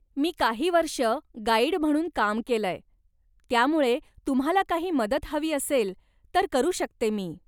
मी काही वर्ष गाईड म्हणून काम केलंय, त्यामुळे तुम्हाला काही मदत हवी असेल तर करू शकते मी.